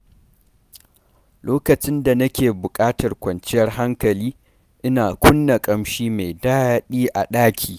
Lokacin da na ke bukatar kwanciyar hankali, ina kunna ƙamshi mai daɗi a ɗaki.